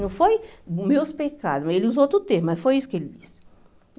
Não foi meus pecados, ele usou outro termo, mas foi isso que ele disse.